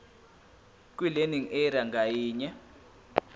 kwilearning area ngayinye